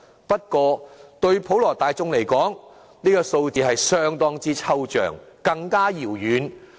不過，對普羅大眾而言，這個數字是相當之抽象，更加遙遠。